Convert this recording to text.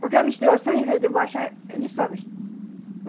Porque a menstruação, ao invés de baixar, ele sobe.